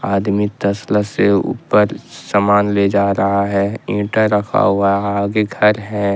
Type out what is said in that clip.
आदमी तसला से ऊपर समान ले जा रहा है ईंटा रखा हुआ आगे घर है।